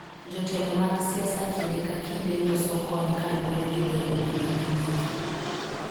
Jotelo mag siasa kinde ka kinde loso kony kaluwore gi dhoudi ma giwuoke.